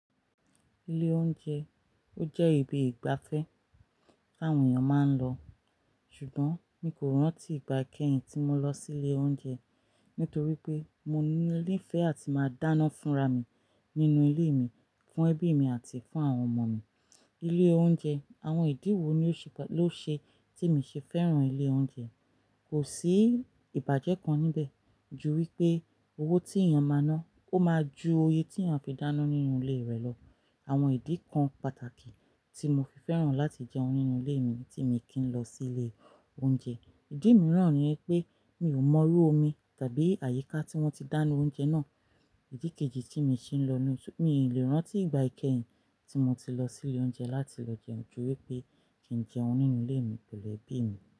Ilé oúnjẹ, ó jẹ́ ibi ìgbafẹ́ tawọn èèyàn máa ń lọ, ṣùgbọ́n mi kò rántí ìgbà kẹ́hìn tí mo lọ sílé oúnjẹ nítorí pé mo ní ìfẹ́ àti máa dáná fúnra mi nínú ilé mi, fún ẹbí mi àti fún àwọn ọmọ mi. Ilé oúnjẹ, àwọn ìdí wo ló ṣe tí mi ṣe fẹ́ràn ilé oúnjẹ? Kò sí ìbàjẹ́ kan níbẹ̀ ju wípé owó tí èèyàn máa ná, ó máa ju oyè tí èèyàn fi dáná nínú ilé rẹ̀ lọ. Àwọn ìdí kan pàtàkì tí mo fi fẹ́ràn láti jẹun nínú ilé mi tí mi kì ń lọ sílé oúnjẹ. Ìdí míràn ni pé mi ò mọrú omi tàbí àyíká tí wọ́n ti dáná oúnjẹ náà. Ìdí kejì tí mi ṣe ń lọ-- mi lè rántí ìgbà ikẹ́hìn tí mo ti lọ sílé oúnjẹ láti lọ jẹun juwi pé kí ń jẹun nínú ilé mi pẹ̀lú ẹbí mi.